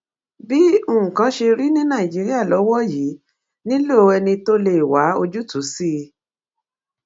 bí nǹkan ṣe rí ní nàìjíríà lọwọ yìí nílò ẹni tó lè wá ojúùtú sí i